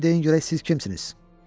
İndi deyin görək siz kimsiniz?